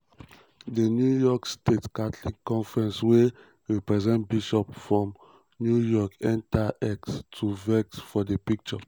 di new york state catholic conference wey represent bishops from new york enta x to vex for di picture.